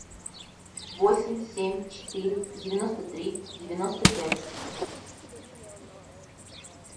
восемь семь четыре девяносто три девяносто пять